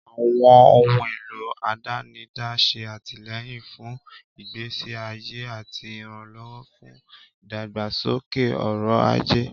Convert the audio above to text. Àwọn ohun èlò àdánidá ń ṣe àtìlẹ́yìn fún ìgbésí ayé àti ìrànlọ́wọ́ fún ìdàgbàsókè ọrọ̀ ajé.